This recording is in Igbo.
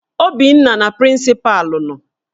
Obinna na prịncịpalụ nọ